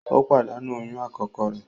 O padanu oyún akọkọ re